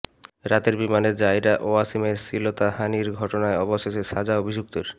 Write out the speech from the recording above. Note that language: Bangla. রাতের বিমানে জাইরা ওয়াসিমের শ্লীলতাহানির ঘটনায় অবশেষে সাজা অভিযুক্তের